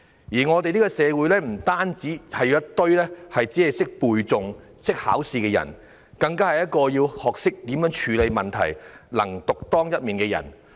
現時，社會不僅需要一群只會背誦和考試的人，更需要學懂處理問題，能夠獨當一面的人。